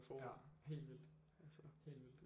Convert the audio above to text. Ja helt vildt helt vildt